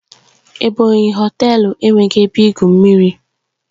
Ebonyi Họtelu enweghị ebe igwu mmiri